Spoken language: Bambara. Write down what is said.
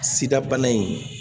Sida bana in